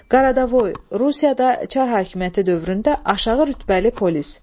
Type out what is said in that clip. Qaradavoy, Rusiyada Çar höküməti dövründə aşağı rütbəli polis.